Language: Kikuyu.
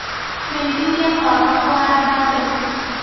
Ndeithirie baba kũhanda mbegũ.